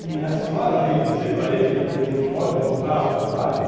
E a senhora vem dizer para ele que ele não pode voltar ao trabalho?